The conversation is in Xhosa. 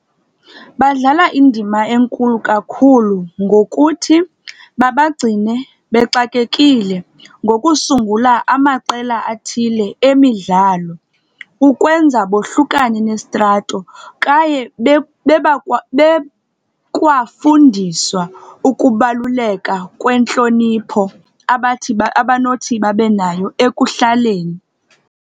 Badlala indama enkulu kakhulu ngokuthi babagcine bexakekile, ngokusungula amaqela athile emidlalo ukwenza bohlukane nesitrato. Kaye bekwafundiswa ukubalukela kwentlonipho abathi abanothi babe nayo ekuhlaleni.